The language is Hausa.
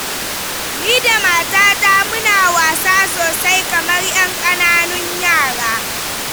Ni da matata muna wasa sosai kamar 'yan ƙananan yara.